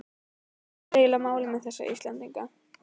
Hvað er eiginlega málið með þessa Íslendinga?